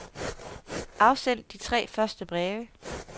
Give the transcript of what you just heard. Afsend de tre første breve.